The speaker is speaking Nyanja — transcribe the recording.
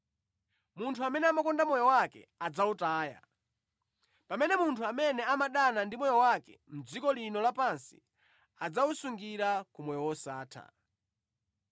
Munthu amene amakonda moyo wake adzawutaya, pamene munthu amene amadana ndi moyo wake mʼdziko lino lapansi adzawusungira ku moyo wosatha.